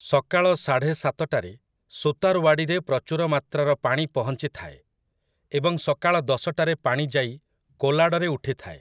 ସକାଳ ସାଢ଼େ ସାତଟାରେ ସୁତାର୍‍ୱାଡ଼ିରେ ପ୍ରଚୁର ମାତ୍ରାର ପାଣି ପହଞ୍ଚିଥାଏ ଏବଂ ସକାଳ ଦଶଟାରେ ପାଣି ଯାଇ କୋଲାଡରେ ଉଠିଥାଏ ।